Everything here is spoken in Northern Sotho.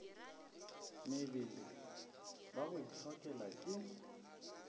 mebele ba go itlhokela ke